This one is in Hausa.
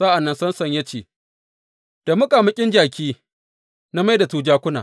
Sa’an nan Samson ya ce, Da muƙamuƙin jaki na mai da su jakuna.